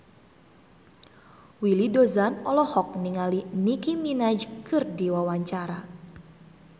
Willy Dozan olohok ningali Nicky Minaj keur diwawancara